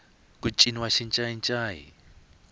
ku ciniwa xincayincayi